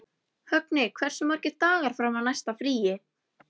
Högni, hversu margir dagar fram að næsta fríi?